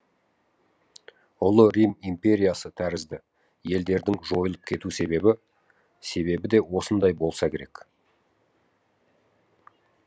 ұлы рим империясы тәрізді елдердің жойылып кету себебі де осындай болса керек